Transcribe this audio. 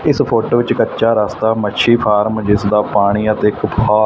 ਇਸ ਫੋਟੋ ਵਿੱਚ ਕੱਚਾ ਰਾਸਤਾ ਮੱਛੀ ਫਾਰਮ ਜਿਸਦਾ ਪਾਣੀ ਅਤੇ ਖੁੱਖਾ--